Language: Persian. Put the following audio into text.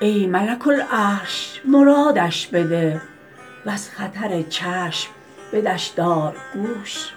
ای ملک العرش مرادش بده و از خطر چشم بدش دار گوش